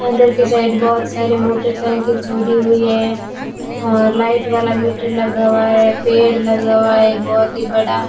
अंदर की साइड बहुत सारी मोटरसाइकिल छोड़ी हुई है और लाइट वाला मीटर लगा हुआ है पेड़ लगा हुआ है बहुत ही बड़ा --